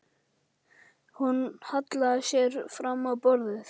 Hún hallaði sér fram á borðið.